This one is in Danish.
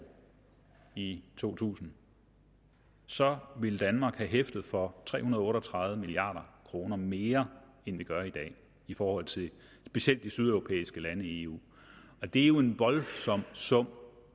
i to tusind så ville danmark have hæftet for tre hundrede og otte og tredive milliard kroner mere end vi gør i dag i forhold til specielt de sydeuropæiske lande i eu det er jo en voldsom sum